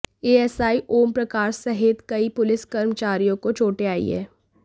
ASI Om Prakash सहित कई police कर्मचारियों को चोटें आई हैं